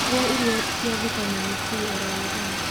Rĩa irio cia vitamini C oro mũthenya